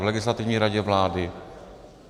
V Legislativní radě vlády?